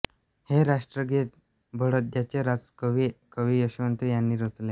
हे राष्ट्रगीत बडोद्याचे राजकवी कवी यशवंत यांनी रचले